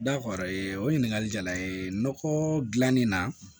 o ɲininkali jala n ye nɔgɔko dilannen na